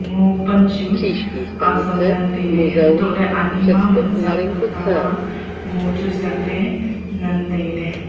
ngo pan chu azam ngan tailey hantoley ani ma manziak tamta ma ngo chu ziakley ngan tailey.